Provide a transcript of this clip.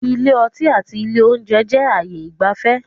Ilé ọtí àti àwọn ilé oúnjẹ jẹ ayé ìgbafẹ́